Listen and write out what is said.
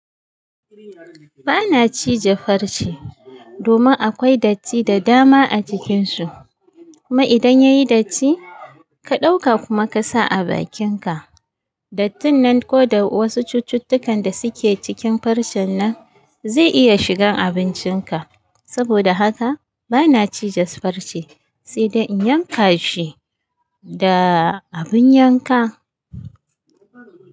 Ba na ci je farci domin akwai datti da dama a cikinsu. Kuma idan ya yi datti, ka ɗauka kuma ka sa a bakinka, dattin nan ko wasu cucuttukan da suke cikin farcen nan zai iya shigan abincinka. Saboda haka ba na ci je farci, sai dai in yanka shi da abin yanka.